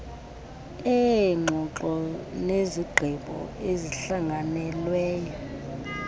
eengxoxo nezigqibo ezihlanganelweyo